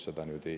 Suur tänu!